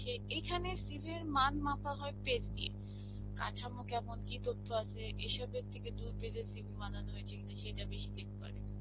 এইখানে CV র মান মাপা হয় page দিয়ে. কাঠামো কেমন, কি তথ্য আছে এসবের থেকে দুই page এর CV বানানো হয়েছে কিনা সেটা বেশী check করে.